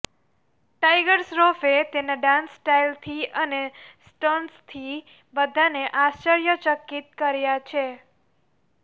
tiger શ્રોફે તેના dance style અને સ્ટન્ટ્સથી બધાને આશ્ચર્યચકિત કર્યા છે